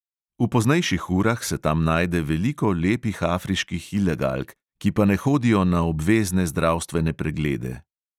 V poznejših urah se tam najde veliko lepih afriških ilegalk, ki pa ne hodijo na obvezne zdravstvene preglede.